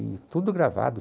E tudo gravado.